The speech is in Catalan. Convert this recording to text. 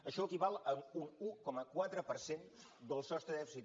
això equival a un un coma quatre per cent del sostre de dèficit